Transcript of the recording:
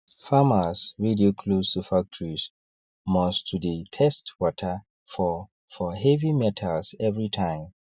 farmers wey dey close to factories must to dey test water for for heavy metals every time